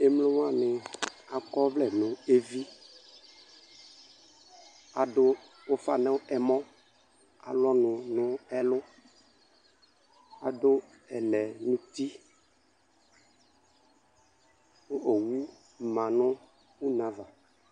Emlowanɩ akɔvlɛ nʋ evi , adʋ ʋfa nʋ ɛmɔ , alʋ ɔnʋ nʋ ɛlʋ, adʋ ɛlɛ n'uti ; kʋ owu ma nʋ uneava